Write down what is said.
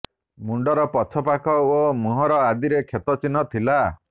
ମୁଣ୍ଡର ପଛ ପାଖ ଓ ମୁହଁ ଆଦିରେ କ୍ଷତ ଚିହ୍ନ ଥିଲା